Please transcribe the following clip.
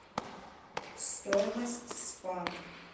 стоимость спа